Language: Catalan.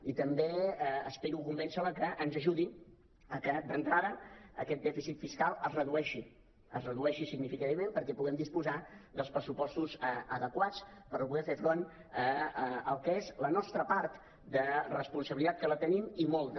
i també aspiro a convèncer la perquè ens ajudi a fer que d’entrada aquest dèficit fiscal es redueixi es redueixi significativament perquè puguem disposar dels pressupostos adequats per poder fer front al que és la nostra part de responsabilitat que en tenim i molta